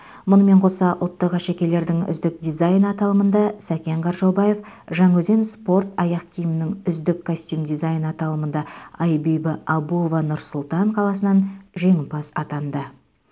мұнымен қоса ұлттық әшекейлердің үздік дизайны аталымында сәкен қаржаубаев жаңаөзен спорт аяқ киімінің үздік костюм дизайны алатымында айбибі абуова нұр сұлтан қаласынан жеңімпаз атанды